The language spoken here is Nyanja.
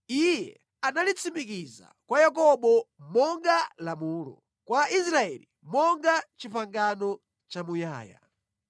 Iye analitsimikiza kwa Yakobo monga lamulo, kwa Israeli monga pangano lamuyaya.